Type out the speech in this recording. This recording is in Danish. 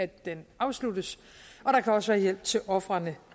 den afsluttes og der kan også være hjælp til ofrene